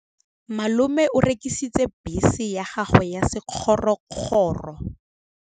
Malome o rekisitse bese ya gagwe ya sekgorokgoro.